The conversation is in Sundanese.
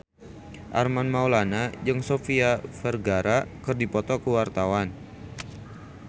Armand Maulana jeung Sofia Vergara keur dipoto ku wartawan